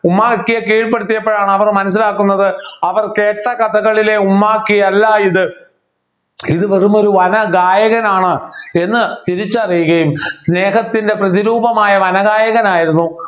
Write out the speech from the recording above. ഉമ്മാക്കിയെ കീഴ്‌പ്പെടുത്തിയപ്പോഴാണ് അവർ മനസ്സിലാക്കുന്നത് അവർ കേട്ട് കഥകളിലെ ഉമ്മാക്കി അല്ലാ ഇത് വെറുമൊരു ഇത് വെറുമൊരു വന ഗായകനാണ് എന്ന് തിരിച്ചറിയുകയും സ്നേഹത്തിൻ്റെ പ്രതിരൂപമായ വനഗായകനായിരുന്നു